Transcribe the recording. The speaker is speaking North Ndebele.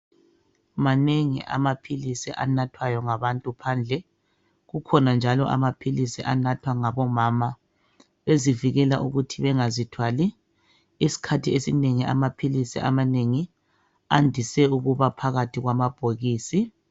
Manengi amaphilisi anathwayo ngabantu ngaphandle kukhona njalo amaphilisi anathwa ngabomama bezivikela ukuthi bengazithwali isikhathi esinengi amaphilisi amanengi andise ukuba phakathi kwamabhokisi.